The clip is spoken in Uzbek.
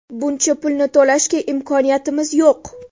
Buncha pulni to‘lashga imkoniyatimiz yo‘q.